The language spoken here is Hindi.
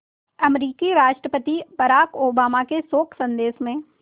अमरीकी राष्ट्रपति बराक ओबामा के शोक संदेश में